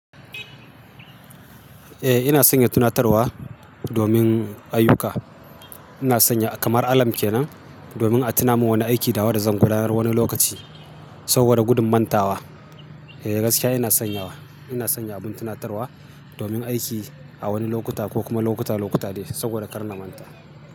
Eh ina sanya tunatarwa domin ayuka. Ina sanya kamar alarm kenan domin a tuna min wani aiki da wan da zan gudanar wani lokaci saboda gudun manta wa. Eh gaskiya ina sanyawa, ina sanya abun tunatarwa domin aiki a wani lokuta ko kuma lokuta lokuta de saboda kar na manta.